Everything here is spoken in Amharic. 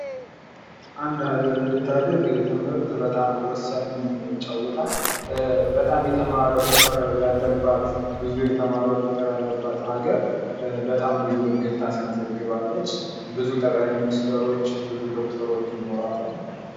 አንድ ሀገር እንድታደግ ትምህርት በጣም ወሳኝ ሚና ይጫወታል በጣም የተማረ ቁጥር ያለባት ብዙ የተማረ ቁጥር ያለባት ሀገር ብዙ እድገት ታስመዘግባለች።